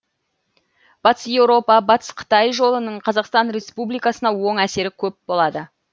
батыс еуропа батыс қытай жолының қазақстан республикасына оң әсері көп болады